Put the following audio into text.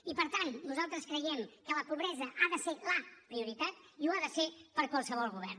i per tant nosaltres creiem que la pobresa ha de ser la prioritat i ho ha de ser per a qualsevol govern